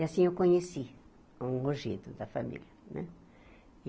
E assim eu conheci um mojito da família, né?